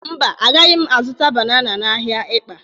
Mba, agaghị m azụta banana n'ahịa Ịkpa.